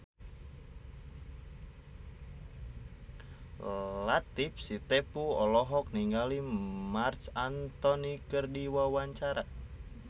Latief Sitepu olohok ningali Marc Anthony keur diwawancara